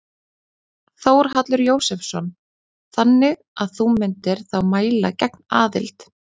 Þórhallur Jósefsson: Þannig að þú myndir þá mæla gegn aðild?